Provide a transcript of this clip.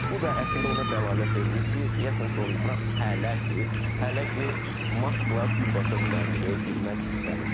Bu da əslində ona dəlalət eləyir ki, deyəsən Donald Tramp hələ ki, hələ ki, Maskla birbaşa münaqişəyə girmək istəmir.